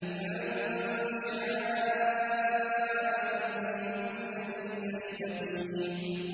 لِمَن شَاءَ مِنكُمْ أَن يَسْتَقِيمَ